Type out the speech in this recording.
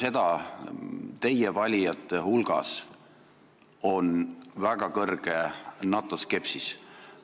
Aga teie valijate hulgas on ka väga suur NATO skepsis.